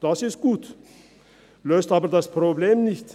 Das ist gut, löst aber das Problem nicht.